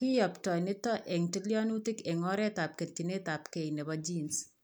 kiyoptoi nitok eng' tilyanutik eng' oretab ketchinetabge nebo genes